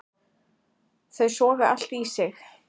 Þau soga allt í sig.